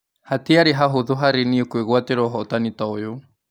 Hatiarĩ hahũthũ harĩ niĩ kũĩ gũatĩ ra ũhotani ta ũyũ.